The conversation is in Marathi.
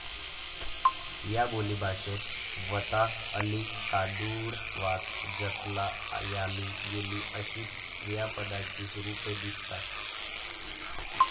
या बोलीभाषेत व्हता, अली, कादुळवात, जतला, याली, गेली अशी क्रियापदाची रूपे दिसतात.